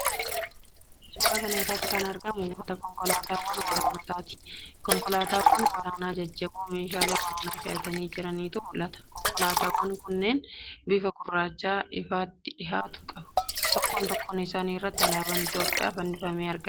Suuraa kana irratti kan argamu buufata konkolaataawwan waraanaati. Konkolaataawwan waraanaa jajjaboo meeshaalee waraanaa fe'atanii jirantu mul'ata. Konkolaataawwan kunneen bifa gurraacha ifaatti dhihaatu qabu. Tokkoo tokkoo isaanii irratti alaabaan Itiyoophiyaa fannifamee argama.